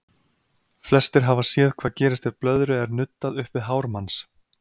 Flestir hafa séð hvað gerist ef blöðru er nuddað upp við hár manns.